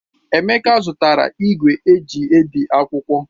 Emeka azụtara ìgwè eji ebi akwụkwọ.